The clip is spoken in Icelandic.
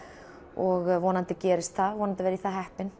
og vonandi gerist það og vonandi verð ég það heppin